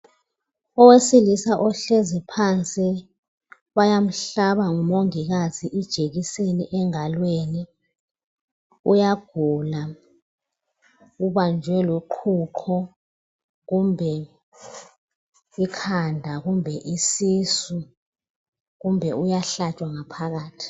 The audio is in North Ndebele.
Owesilisa ohlezi phansi bayamhlaba ngumongikazi ijekiseni engalweni. Uyagula ubanjwe luqhuqho, kumbe ikhanda kumbe isisu kumbe uyahlatshwa ngaphakathi.